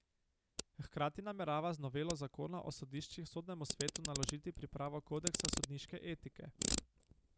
Hkrati namerava z novelo zakona o sodiščih Sodnemu svetu naložiti pripravo kodeksa sodniške etike.